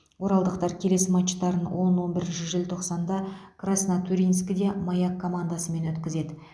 оралдықтар келесі матчтарын он он бірінші желтоқсанда краснотурьинскіде маяк командасымен өткізеді